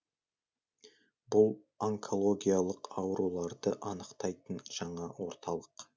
бұл онкологиялық ауруларды анықтайтын жаңа орталық